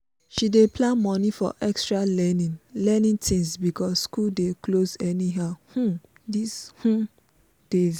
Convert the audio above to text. she dey plan money for extra learning learning things because school dey close anyhow um these um days.